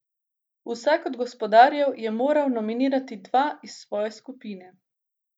Vsak od gospodarjev je moral nominirati dva iz svoje skupine.